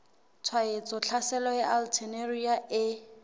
tshwaetso tlhaselo ya alternaria e